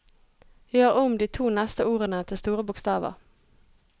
Gjør om de to neste ordene til store bokstaver